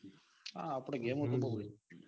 હા આપડે ગેમો તો બૌ.